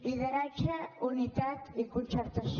lideratge unitat i concertació